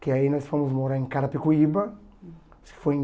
Que aí nós fomos morar em Carapicuíba, foi em